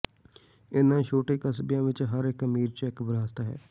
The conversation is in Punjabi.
ਇਨ੍ਹਾਂ ਛੋਟੇ ਕਸਬਿਆਂ ਵਿਚ ਹਰ ਇਕ ਅਮੀਰ ਚੈੱਕ ਵਿਰਾਸਤ ਹੈ